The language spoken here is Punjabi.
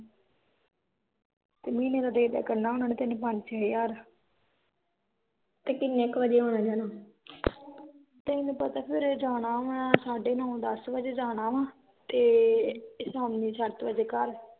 ਤੈਨੂੰ ਪਤਾ ਫਿਰ ਜਾਣਾ ਵਾ, ਸਾਢੇ ਨੋ ਦੱਸ ਵਜੇ ਜਾਣਾ ਵਾ ਤੇ ਸ਼ਾਮੀ ਸੱਤ ਵਜੇ ਘਰ